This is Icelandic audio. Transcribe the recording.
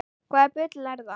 Hvaða bull er það?